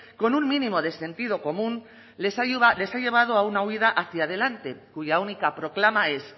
con un mínimo de sentido común les ha llevado a una huida hacia delante cuya única proclama es